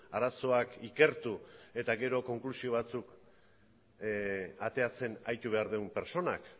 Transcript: arazoak ikertu eta gero konklusio batzuk ateratzen aritu behar duen pertsonak